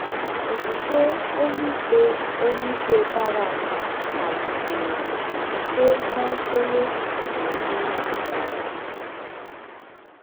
Okwukwe onyeikpe onyeikpe Barak kpalitere site na nkwenye n'ụdị nkwado.